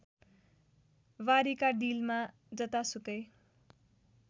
बारीका डिलमा र जतासुकै